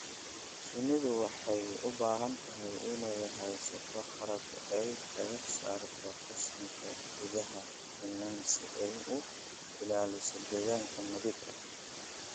Shinnidu waxay u baahan tahay inay haysato qalab ay kaga saarto qashinka gudaha finan si ay u ilaaliso deegaan nadiif ah.